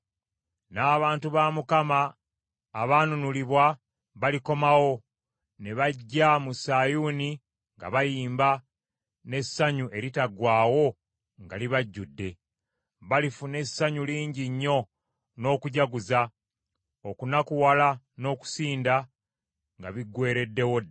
N’abantu ba Mukama abaanunulibwa balikomawo, ne bajja mu Sayuuni nga bayimba, n’essanyu eritaggwaawo nga libajjudde. Balifuna essanyu lingi nnyo n’okujaguza, okunakuwala n’okusinda nga biggweereddewo ddala.